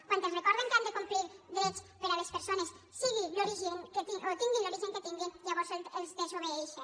quan els recorden que han de complir drets per a les persones tinguin l’origen que tinguin llavors els desobeeixen